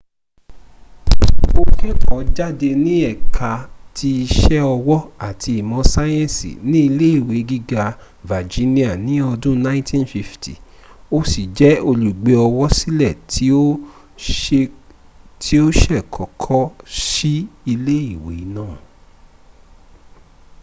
o keko jade ni eka ti ise owo ati imo sayensi ni ile iwe giga virginia ni odun 1950 o si je olugbeowosile ti o se koko si ile iwe naa